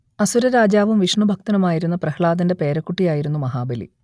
അസുരരാജാവും വിഷ്ണുഭക്തനുമായിരുന്ന പ്രഹ്ലാദന്റെ പേരക്കുട്ടി ആയിരുന്നു മഹാബലി